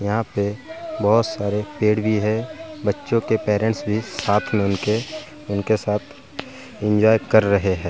यहाँ पे बहुत सारे पेड़ भी हैं बच्चों के पेरेंट्स ने साथ मिलकर उनके साथ एन्जॉय कर रहे हैं।